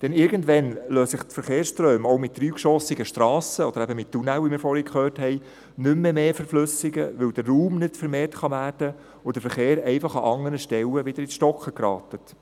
Denn irgendwann lassen sich die Verkehrsströme auch mit dreigeschossigen Strassen oder eben mit Tunnel, wie wir vorhin gehört haben, nicht mehr stärker verflüssigen, weil der Raum nicht vermehrt werden kann und der Verkehr an anderen Stellen wieder ins Stocken gerät.